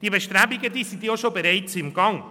Diese Bestrebungen sind bereits im Gang.